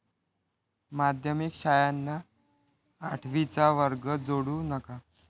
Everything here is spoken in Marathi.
माध्यमिक शाळांना आठवीचा वर्ग जोडू नका!